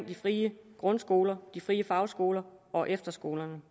de frie grundskoler de frie fagskoler og efterskolerne